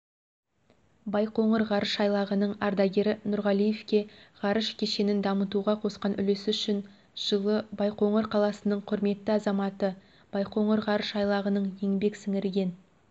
байқоңыр ғарыш айлағының ардагері нұрғалиевке ғарыш кешенін дамытуға қосқан үлесі үшін жылы байқоңыр қаласының құрметті азаматы байқоңыр ғарыш айлағының еңбек сіңірген